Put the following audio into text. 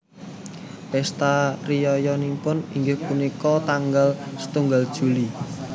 Pesta riyayanipun inggih punika tanggal setunggal Juli